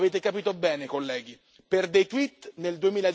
Avete capito bene, colleghi, per dei tweet nel